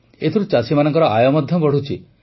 ଏଥିରୁ ଚାଷୀମାନଙ୍କର ଆୟ ମଧ୍ୟ ବଢ଼ୁଛି